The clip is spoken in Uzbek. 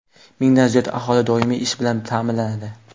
Mingdan ziyod aholi doimiy ish bilan ta’minlanadi.